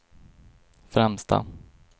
främsta